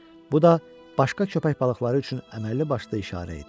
Bu da başqa köpək balıqları üçün əməlli başlı işarə idi.